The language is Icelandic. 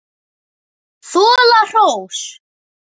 Þola hrós.